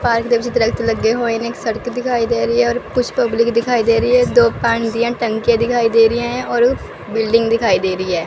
Park बीच दरख़्त लगे होए ने एक सड़के दिखाई दे रही है और कुछ पब्लिक दिखाई दे रही है दो पानी की टंकीयां दिखाई दे रहिया हैं और बिल्डिंग दिखाई दे रही है।